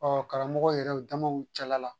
Ɔ karamɔgɔ yɛrɛ damaw cɛla la